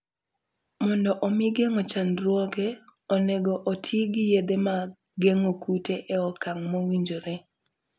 Mondo omi geng'o chandruoge, onego oti gi yedhe mag geng'o kute e okang' mowinjore.